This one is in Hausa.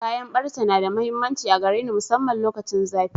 Kayan ɓarce na da mahimmanci a gare ni masamman lokacin zafi.